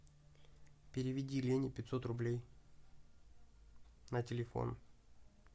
переведи лене пятьсот рублей на телефон